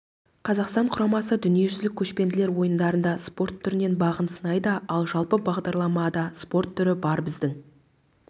қазақстан құрамасы дүниежүзілік көшпенділер ойындарында спорт түрінен бағын сынайда ал жалпы бағдарламада спорт түрі бар біздің